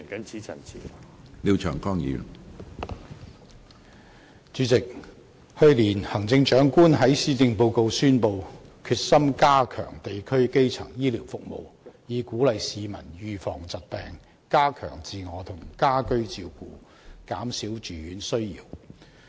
主席，去年行政長官在施政報告宣布決心加強地區基層醫療服務，以鼓勵市民預防疾病，加強自我和家居照顧，減少住院需要。